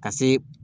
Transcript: Ka se